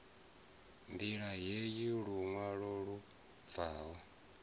ṋdila heyi luṅwalo lu bvaho